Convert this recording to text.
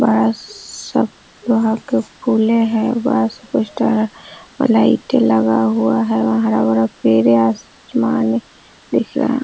बस सब वहाँ के फूले हैं बड़ा सा पोस्टर और लाइटे लगा हुआ है व हरा-भरा पेड़ें आसमान में दिख रहा है।